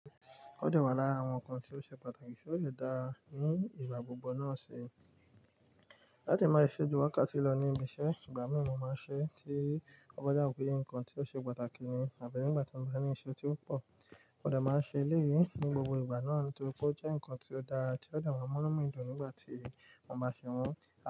Ó de wà lára àwọn ǹkan tí ó ṣe pàtàkì tí ó le dára ní ìgbà gbogbo náà ṣe. Láti máa ṣojú wákàtí lọ ní ibi iṣẹ́, ìgbà mìí mo máa ń ṣe tí ọba dà pé ǹkan tí ó ṣe pàtàkì ni àbẹ̀ nígbà tí mo bá ní iṣẹ́ tí ó pọ̀. Mó dà máa ń ṣe eléyìí ní gbogbo ìgbà náà nítorí pé ó jẹ́ ǹkan tí ó dára tí ó dà máa ń mú nu mí dùn nígbà tí mo bá ṣe wọ́n.